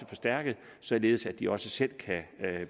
forstærket således at de også selv kan